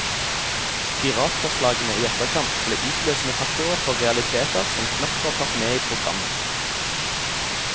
Piratforslagene i etterkant ble utløsende faktorer for realiteter som knapt var tatt med i programmet.